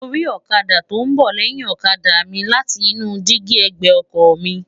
mo ri ọ̀kadà tó ń bọ̀ lẹ́yìn ọkọ̀ mi láti inú dígí ẹ̀gbẹ́ ọkọ mi